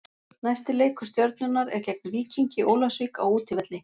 Næsti leikur Stjörnunnar er gegn Víkingi Ólafsvík á útivelli.